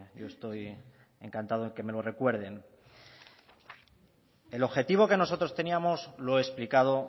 yo estoy encantado en que me lo recuerden el objetivo que nosotros teníamos lo he explicado